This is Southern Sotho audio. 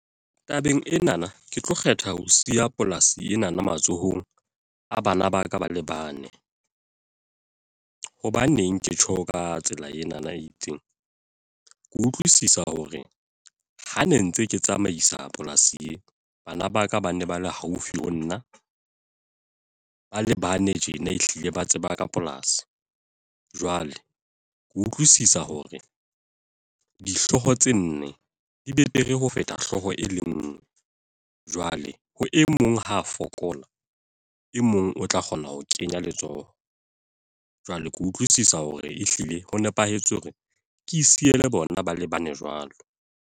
Tabeng enana, ke tlo kgetha ho siya polasi enana matsohong, a bana ba ka ba le bane. Hobaneng ke tjho ka tsela enana e itseng. Ke utlwisisa hore, ha ne ntse ke tsamaisa polasi ee. Bana ba ka ba ne ba le haufi ho nna, ba le bane tjena ehlile ba tseba ka polasi. Jwale ke utlwisisa hore dihloho tse nne di betere ho feta hlooho e le nngwe. Jwale ha e mong ha a fokola, e mong o tla kgona ho kenya letsoho. Jwale ke utlwisisa hore ehlile ho nepahetse hore ke siye le bona ba le bane jwalo.